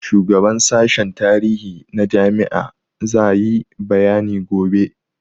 Shugaban sashen tarihi na jami'a za yi bayani gobe.